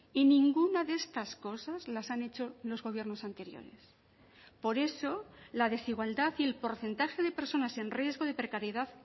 y ninguna de estas cosas las han hecho los gobiernos anteriores por eso la desigualdad y el porcentaje de personas en riesgo de precariedad